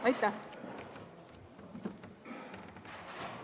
Aitäh!